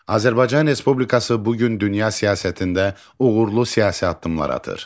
Azərbaycan Respublikası bu gün dünya siyasətində uğurlu siyasi addımlar atır.